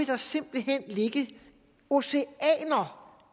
der simpelt hen ligge oceaner